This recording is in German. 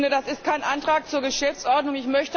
Das ist kein Antrag zur Geschäftsordnung.